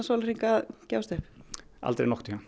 sólarhringa að gefast upp aldrei nokkurn tímann